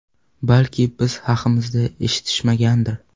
Balki biz haqimizda eshitishmagandir.